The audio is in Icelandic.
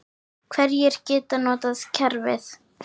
Hverjir geta notað kerfið?